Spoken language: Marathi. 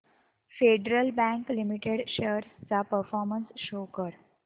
फेडरल बँक लिमिटेड शेअर्स चा परफॉर्मन्स शो कर